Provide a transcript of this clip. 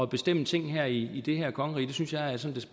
bestemme ting her i det her kongerige jeg synes